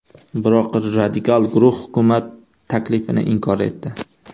Biroq radikal guruh hukumat taklifini inkor etdi.